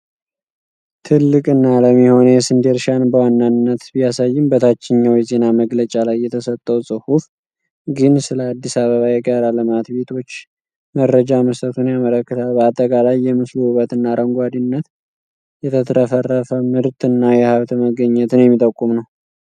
ትልቅ እና ለም የሆነ የስንዴ እርሻን በዋናነት ቢያሳይም፣ በታችኛው የዜና መግለጫ ላይ የተሰጠው ጽሑፍ ግን ስለ አዲስ አበባ የጋራ ልማት ቤቶች መረጃ መስጠቱን ያመለክታል። በአጠቃላይ የምስሉ ውበት እና አረንጓዴነት የተትረፈረፈምርት እና የሃብት መገኘትን የሚጠቁም ነው።